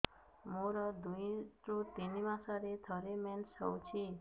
ମୋର ଦୁଇରୁ ତିନି ମାସରେ ଥରେ ମେନ୍ସ ହଉଚି